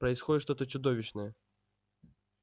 происходит что-то чудовищное